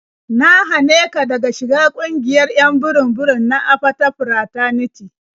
Na hane ka daga shiga ƙungiyar 'yan burum-burum na Apata Fraternity.